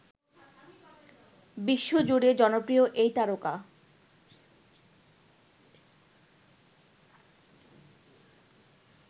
বিশ্বজুড়ে জনপ্রিয় এই তারকা